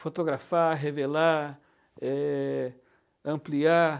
Fotografar, revelar, eh, ampliar.